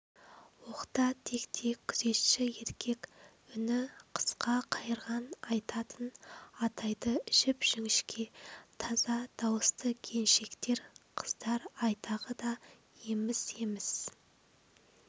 оқта-текте күзетші еркек үні қысқа қайырған айтатын атайды жіп-жіңішке таза дауысты келіншектер қыздар айтағы да еміс-еміс